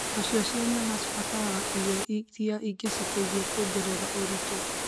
Nacio cia nyama cibataraga irio iria ingĩciteithia kuongerera ũritũ